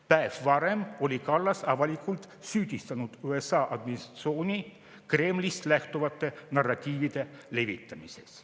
Päev varem oli Kallas avalikult süüdistanud USA administratsiooni Kremlist lähtuvate narratiivide levitamises.